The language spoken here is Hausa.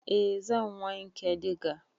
Eh zan wanke diga.